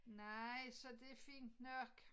Nej så det fint nok